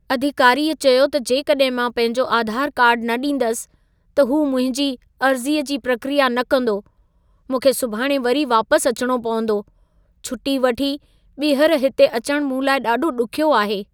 अधिकारीअ चयो त जेकॾहिं मां पंहिंजो आधार कार्ड न ॾींदसि, त हू मुंहिंजी अर्ज़ीअ जी प्रक्रिया न कंदो। मूंखे सुभाणे वरी वापस अचणो पवंदो। छुटी वठी, ॿीहर हिते अचणु मूं लाइ ॾाढो ॾुखियो आहे।